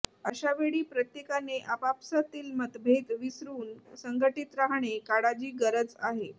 अशा वेळी प्रत्येकाने आपापसातील मतभेद विसरून संघटित राहणे काळाजी गरज आहे